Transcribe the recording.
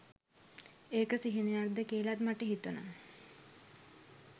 ඒක සිහිනයක් ද කියලත් මට හිතුනා.